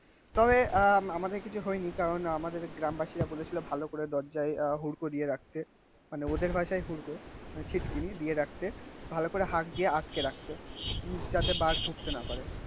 তবে আহ আমাদের ধরেনি কারন আমাদেরকে গ্রামবাসীরা বলেছিল যে ভালো করে দরজায় হুড়কোড়িয়ে রাখতে. মানে ওদের ভাষায় হুড়কো ছিটকিনি দিয়ে রাখতে. ভালো করে হাত দিয়ে আটকে রাখতে. যাতে বাঘ ঢুকতে না পারে.